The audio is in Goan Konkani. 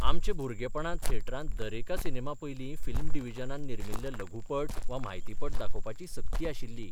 आमचे भुरगेपणांत थेटरांत दरेका सिनेमापयलीं फिल्म डिविजनान निर्मिल्ले लघुपट वा म्हायतीपट दाखोवपाची सक्ती आशिल्ली.